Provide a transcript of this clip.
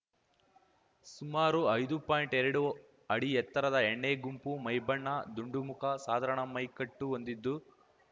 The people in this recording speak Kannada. ಸುಮಾರು ಐದು ಪಾಯಿಂಟ್ಎರಡು ಅಡಿ ಎತ್ತರದ ಎಣ್ಣೆಗೆಂಪು ಮೈಬಣ್ಣ ದುಂಡುಮುಖ ಸಾಧಾರಣ ಮೈ ಕಟ್ಟು ಹೊಂದಿದ್ದು